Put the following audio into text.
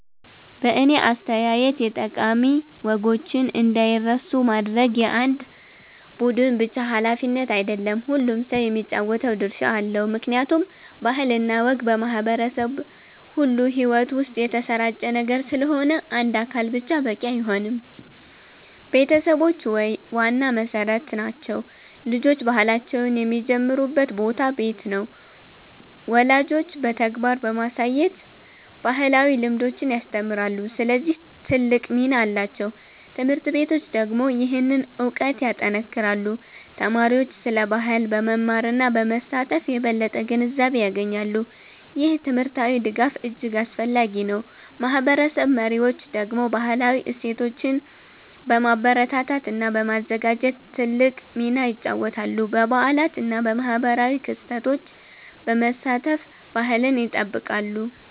በእኔ አስተያየት የጠቃሚ ወጎችን እንዳይረሱ ማድረግ የአንድ ቡድን ብቻ ሃላፊነት አይደለም፤ ሁሉም ሰው የሚጫወተው ድርሻ አለው። ምክንያቱም ባህል እና ወግ በማህበረሰብ ሁሉ ሕይወት ውስጥ የተሰራጨ ነገር ስለሆነ አንድ አካል ብቻ በቂ አይሆንም። ቤተሰቦች ዋና መሠረት ናቸው። ልጆች ባህላቸውን የሚጀምሩበት ቦታ ቤት ነው። ወላጆች በተግባር በማሳየት ባህላዊ ልምዶችን ያስተምራሉ፣ ስለዚህ ትልቅ ሚና አላቸው። ት/ቤቶች ደግሞ ይህንን እውቀት ያጠናክራሉ። ተማሪዎች ስለ ባህል በመማር እና በመሳተፍ የበለጠ ግንዛቤ ያገኛሉ። ይህ ትምህርታዊ ድጋፍ እጅግ አስፈላጊ ነው። ማህበረሰብ መሪዎች ደግሞ ባህላዊ እሴቶችን በማበረታታት እና በማዘጋጀት ትልቅ ሚና ይጫወታሉ። በበዓላት እና በማህበራዊ ክስተቶች በመሳተፍ ባህልን ይጠብቃሉ።